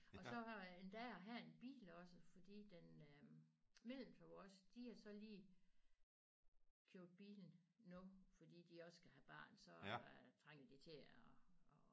Og så har endda at have en bil også fordi den øh mellemste vores de har så lige købt bil nu fordi de skal have barn så trænger de til at at